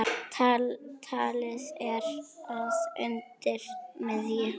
Talið er að undir miðju